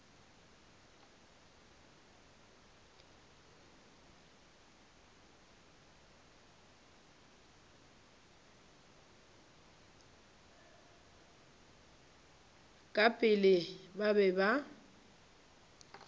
ka pela ba be ba